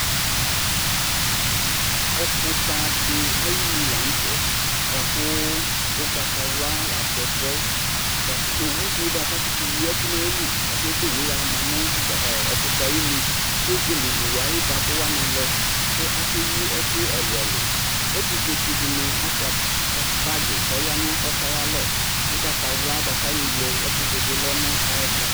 Ɔfʋta dɩ ayinu la nʋ tɛ bʋa kʋ ʋgbatawla la atɛ ɛfʋ yɛ bʋ kʋ owu dɩ bʋa kʋ akʋtʋyi ɛkʋ nʋ ayili bʋa kʋ ebo owu yɛ ama nʋ ʋgb ɔ ɔfʋta yɛ ayinu kʋ ezele owu yɛ ayʋ ɩvabʋ wanɩ lɛ kʋakeyi ɛkʋ ɛlʋ-ɛlʋ Ɛtʋfuetsɩ dɩnɩ asʋɩa bagɩ kʋ ɔya nʋ ɛkʋ yɛ ayalɔ Ʋgbatawla bʋa kʋ ayɔwle ɛfʋ dʋ bɩ lɛ nʋ ayɛtʋ